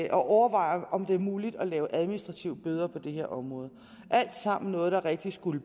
at overveje om det er muligt at lave administrative bøder på det her område alt sammen noget der rigtig skulle